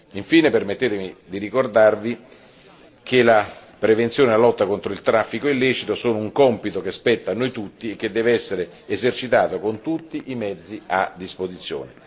Infine, permettetemi di ricordare che la prevenzione e la lotta contro il traffico illecito sono un compito che spetta a noi tutti e che deve essere esercitato con tutti i mezzi a disposizione.